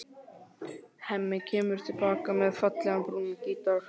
Hemmi kemur til baka með fallegan, brúnan gítar.